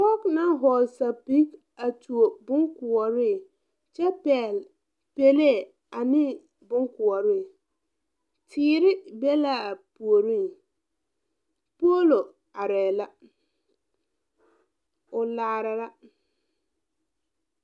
Poge naŋ hɔɔle sɛpige a tuo bonkoɔre kyɛ pɛgle pɛlee ane bonkoɔre teere be laa puoriŋ poolo areɛɛ la o laara la.